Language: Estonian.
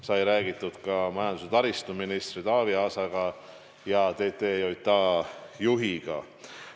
Sai räägitud ka majandus- ja taristuministri Taavi Aasa ning TTJA juhiga.